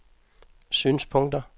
synspunkter